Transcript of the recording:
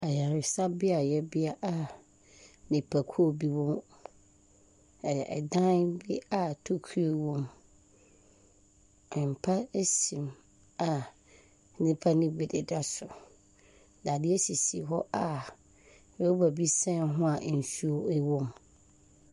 Ayaresabea a wɔabue a nipakuo bi wɔ hɔ. Ɛyɛ dan bi a tokua wɔ mu. Mpa si mu a nnipa no bi deda so. Dadeɛ sisi hɔ a rɔba bi sɛn ho a nsuo wɔ mu.